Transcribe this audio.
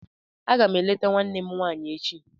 Aga m eleta nwanne m nwaanyị echi